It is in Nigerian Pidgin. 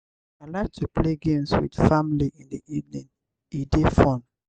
i like to play games with family in the evening; e dey fun.